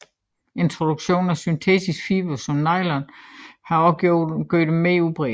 Introduktionen af syntetiske fibre som nylon har også gjort dem mere udbredte